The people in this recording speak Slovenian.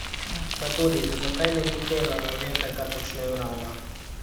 Pa tudi, zakaj ne bi delala nekaj, kar počnem rada?